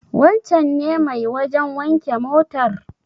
Wancen ne mai wajen wanke motar?